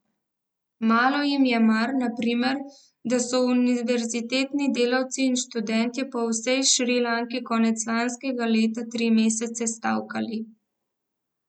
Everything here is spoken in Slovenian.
Malo jim je mar, na primer, da so univerzitetni delavci in študentje po vsej Šrilanki konec lanskega leta tri mesece stavkali.